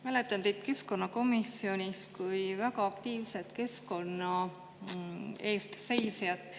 Mäletan teid keskkonnakomisjonist kui väga aktiivset keskkonna eest seisjat.